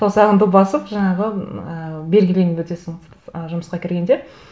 саусағыңды басып жаңағы м ііі белгіленіп өтесің ы жұмысқа кіргенде